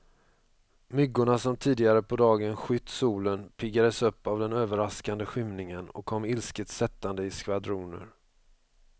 Myggorna som tidigare på dagen skytt solen, piggades upp av den överraskande skymningen och kom ilsket sättande i skvadroner.